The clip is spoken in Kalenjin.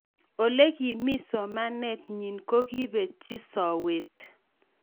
ole kimii somanet nyin ko kipetchi sowet